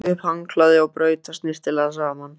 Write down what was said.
Tók upp handklæðið og braut það snyrtilega saman.